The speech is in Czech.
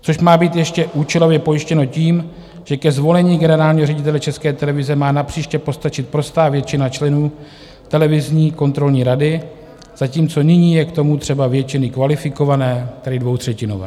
To má být ještě účelově pojištěno tím, že ke zvolení generálního ředitele České televize má napříště postačit prostá většina členů televizní kontrolní rady, zatímco nyní je k tomu třeba většiny kvalifikované, tedy dvoutřetinové.